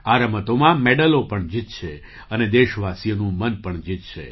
આ રમતોમાં મેડલો પણ જીતશે અને દેશવાસીઓનું મન પણ જીતશે